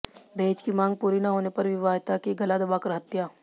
दहेज की मांग पूरी न होने पर विवाहिता की गला दबाकर हत्या